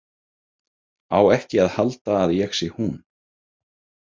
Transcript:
Á ekki að halda að ég sé hún.